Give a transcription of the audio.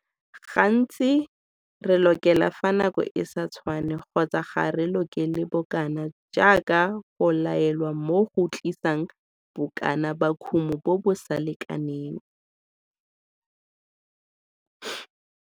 Gantsi, re lokela fa nako e sa tshwanne kgotsa ga re lokele bokana jaaka go laelwa mo go tlisang bokana ba kumo bo bo sa lekaneng.